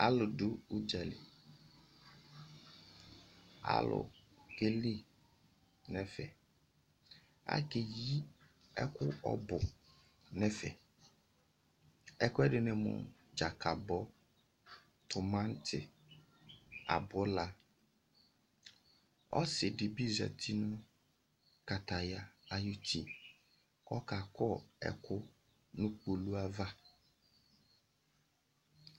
Alu du udzali Alu keli nu ɛfɛAkeyi ɛku ɔbu nu ɛfɛ ɛku ɛdini mu:Dzakabɔ, timati, abulaɔsidibi zati nu kataya ayiʋ uti, kʋ ɔkakɔ ɛku nʋ kpolu ayiʋ ava